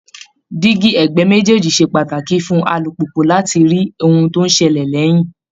Díígí ẹ̀gbẹ́ méjèèjì ṣe pàtàkì fún alùpùpù láti lè rí ohun tó ń ṣẹlẹ̀ lẹ́yìn